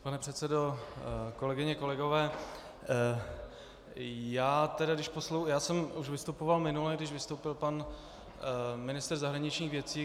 Pane předsedo, kolegyně, kolegové, já jsem už vystupoval minule, když vystoupil pan ministr zahraničních věcí.